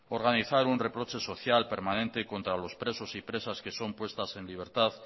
organizar un reproche social permanente contra los presos y presas que son puestas en libertad